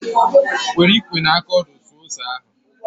Were ikwe na aka ọdụ suo ose ahụ